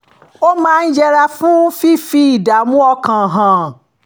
ó máa ń yẹra fún fífi ìdààmú ọkàn hàn